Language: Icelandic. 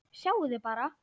Sjáiði bara!